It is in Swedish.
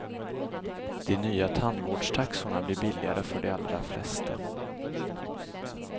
De nya tandvårdstaxorna blir billigare för de allra flesta.